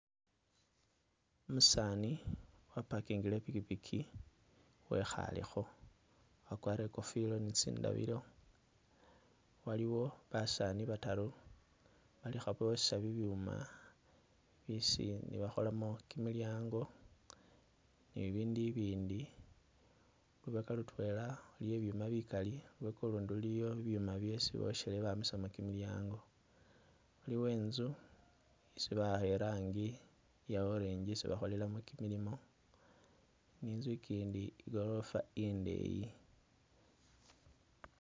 Umusaani wapakingile ipikipiki wekhalekho, wakwalire ikofilo ni tsindabilo, waliwo basaani bataru bali khabosha bibyuma bisi bakholamo kimilyango ni bibindu ibindi, lubeka lutwela iliyo ibyuma bikali, lubeka ulundi luliyo bibyuma byesi boshele bamisamo kimilyango, iliwo inzu isi ba'akha irangi iya orange isi bakholelamu kimilimo ni inzu ikindi igorofa indeyi